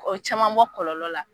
O ye caman bɔ kɔlɔlɔ la